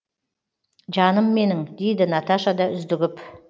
жаным менің дейді наташа да үздігіп